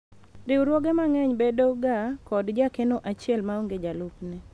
riwruoge mang'eny bedo ga kod jakeno achiel maonge jalupne